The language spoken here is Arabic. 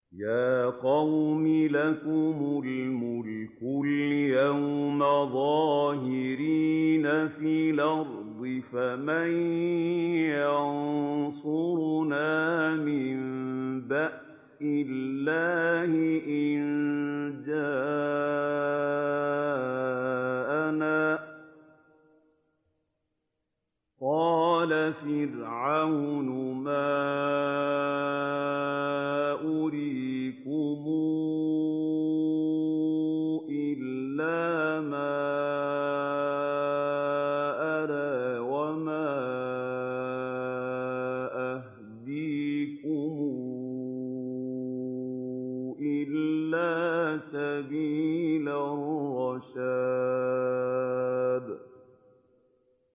يَا قَوْمِ لَكُمُ الْمُلْكُ الْيَوْمَ ظَاهِرِينَ فِي الْأَرْضِ فَمَن يَنصُرُنَا مِن بَأْسِ اللَّهِ إِن جَاءَنَا ۚ قَالَ فِرْعَوْنُ مَا أُرِيكُمْ إِلَّا مَا أَرَىٰ وَمَا أَهْدِيكُمْ إِلَّا سَبِيلَ الرَّشَادِ